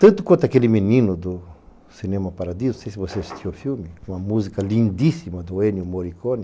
Tanto quanto aquele menino do Cinema Paradiso, não sei se você assistiu ao filme, uma música lindíssima do Ennio Morricone.